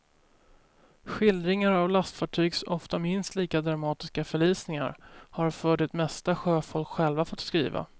Skildringar av lastfartygs ofta minst lika dramatiska förlisningar har för det mesta sjöfolk själva fått skriva.